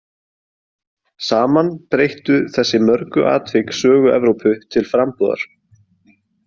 Saman breyttu þessi mörgu atvik sögu Evrópu til frambúðar.